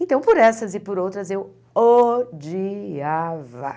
Então, por essas e por outras, eu odiava.